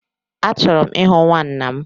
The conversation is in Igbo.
Achọrọ m ịhụ nwanwa m